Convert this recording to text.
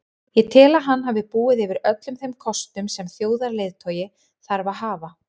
Ég tel að hann hafi búið yfir öllum þeim kostum sem þjóðarleiðtogi þarf að hafa.